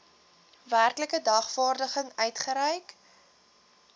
werklike dagvaarding uitgereik